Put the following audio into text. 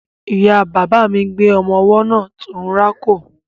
Ìya bàbà mi gbé ọmọ ọwọ́ náà tó ń rákò.